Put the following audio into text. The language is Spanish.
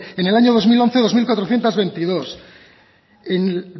en el año dos mil once dos mil cuatrocientos veintidós en